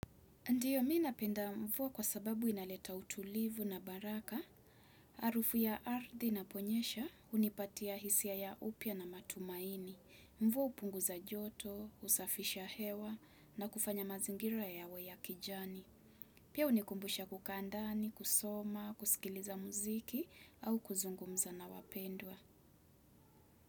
Ndiyo mimi napenda mvua kwa sababu inaleta utulivu na baraka, harufu ya ardhi inaponyesha unipatia hisia ya upya na matumaini, mvua upunguza joto, usafisha hewa na kufanya mazingira yawe ya kijani. Pia unikumbusha kukaa ndani, kusoma, kusikiliza muziki au kuzungumza na wapendwa.